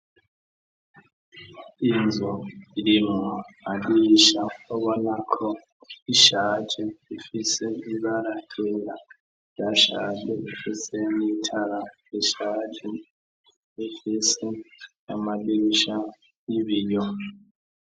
Inzu irimwo amadirisha ubonako ishaje ifise ibara ryera ryashaje, ifise n'itara rishaje, ifise amadirisha y'ibiyo.